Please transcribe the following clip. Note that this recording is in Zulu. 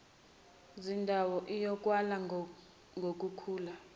zindawo iyokalwa ngukukhula